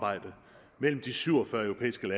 ønsket